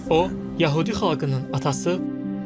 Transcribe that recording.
O Yəhudi xalqının atası.